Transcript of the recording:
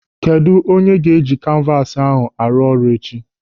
Kedụ onye ga-eji kanvas ahụ arụ ọrụ echi?